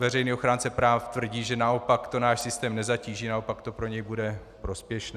Veřejný ochránce práv tvrdí, že naopak to náš systém nezatíží, naopak to pro něj bude prospěšné.